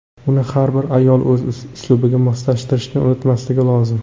Uni har bir ayol o‘z uslubiga moslashtirishni unutmaslik lozim.